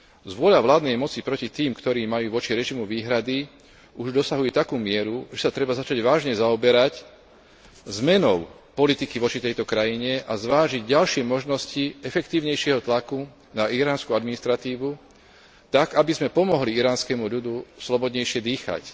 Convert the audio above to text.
Zvôľa vládnej moci proti tým, ktorí majú voči režimu výhrady, už dosahuje takú mieru, že sa treba začať vážne zaoberať zmenou politiky voči tejto krajine a zvážiť ďalšie možnosti efektívnejšieho tlaku na iránsku administratívu tak, aby sme pomohli iránskemu ľudu slobodnejšie dýchať.